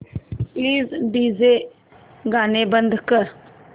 please DJ गाणी बंद कर